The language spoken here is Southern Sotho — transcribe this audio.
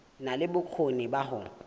na le bokgoni ba ho